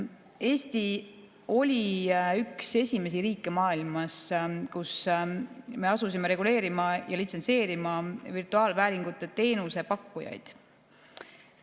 Eesti oli üks esimesi riike maailmas, kes asus reguleerima ja litsentseerima virtuaalvääringu teenuse pakkujaid.